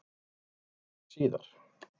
Það var þá gert síðar.